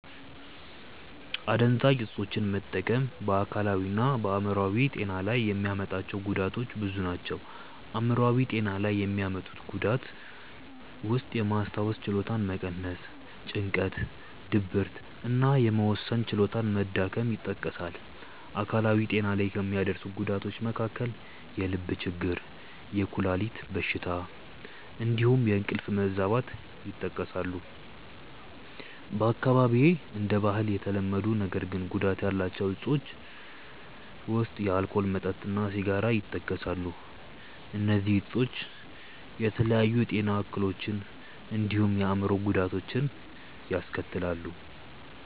አደንዛዥ እፆችን መጠቀም በ አካላዊ እና በ አይምሮአዊ ጤና ላይ የሚያመጣቸው ጉዳቶች ብዙ ናቸው። አይምሯዊ ጤና ላይ የሚያመጡት ጉዳት ውስጥየማስታወስ ችሎታን መቀነስ፣ ጭንቀት፣ ድብርት እና የመወሰን ችሎታ መዳከም ይጠቀሳሉ። አካላዊ ጤና ላይ ከሚያደርሰው ጉዳቶች መካከል የልብ ችግር፣ የኩላሊት በሽታ እንዲሁም የእንቅልፍ መዛባት ይጠቀሳሉ። በአካባቢዬ እንደ ባህል የተለመዱ ነገር ግን ጉዳት ያላቸው እፆች ውስጥ የአልኮል መጠጥ እና ሲጋራ ይጠቀሳሉ። እነዚህ እፆች የተለያዩ የጤና እክሎችን እንዲሁም የአእምሮ ጉዳቶችን ያስከትላሉ።